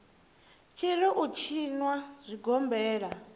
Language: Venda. tshi ri u tshinwa zwigombela